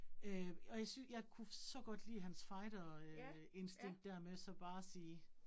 Øh og jeg synes, jeg kunne så godt lide hans fighterinstinkt dér med så bare at sige